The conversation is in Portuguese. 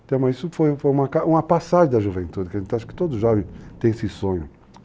Então, mas isso foi uma passagem da juventude, que a gente acha que todo jovem tem esse sonho.